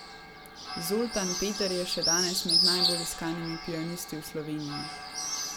Zoltan Peter je še danes med najbolj iskanimi pianisti v Sloveniji.